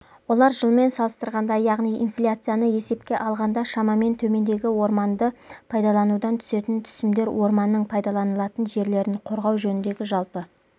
олар жылмен салыстырғанда яғни инфляцияны есепке алғанда шамамен төмендеді орманды пайдаланудан түсетін түсімдер орманның пайдаланылатын жерлерін қорғау жөніндегі жалпы